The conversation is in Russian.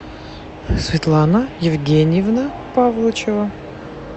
светлана евгеньевна павлычева